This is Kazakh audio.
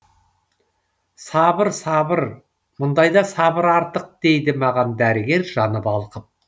сабыр сабыр мұндайда сабыр артық дейді маған дәрігер жаны балқып